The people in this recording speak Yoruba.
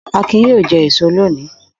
Akin yóò jẹ èso lónìí!